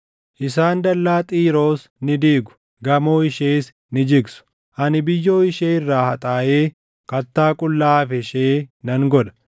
Isaan dallaa Xiiroos ni diigu; gamoo ishees ni jigsu; ani biyyoo ishee irraa haxaaʼee kattaa qullaa hafe ishee nan godha.